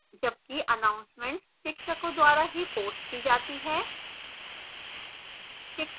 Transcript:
जबकि announcements शिक्षकों द्वारा ही पोस्ट की जाती हैं